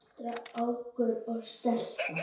Strákur og stelpa.